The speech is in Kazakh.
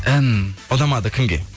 ән ұнамады кімге